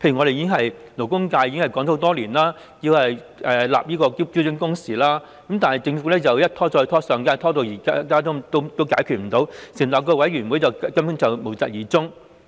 勞工界已爭取多年，要求訂定標準工時，但政府一拖再拖，由上屆拖到今屆仍未解決，成立委員會後又無疾而終。